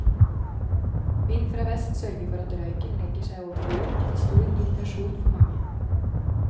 Vind fra vest sørger for at røyken legger seg over byen, til stor irritasjon for mange.